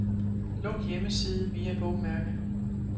Luk hjemmeside via bogmærke.